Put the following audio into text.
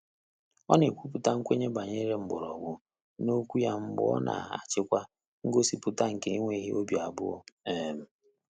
Ọ́ nà-ékwúpụ́tà nkwènye gbànyéré mkpọ́rọ́gwụ́ n’ókwúkwé yá mgbè ọ́ nà-àchị́kwá ngọ́sípụ́tà nké énwéghị́ óbí àbụ́ọ́. um